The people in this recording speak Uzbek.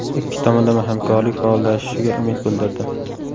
Ikki tomonlama hamkorlik faollashishiga umid bildirdi.